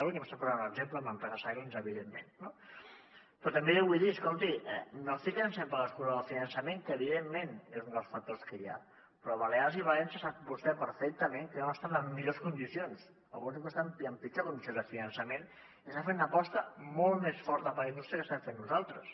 vostè em posava un exemple amb l’empresa silence evidentment no però també li vull dir escolti no fiquem sempre l’excusa del finançament que evidentment és un dels factors que hi ha però balears i valència sap vostè perfectament que no estan en millors condicions alguns diuen que estan en pitjor condicions de finançament i estan fent una aposta molt més forta per la indústria de la que estem fent nosaltres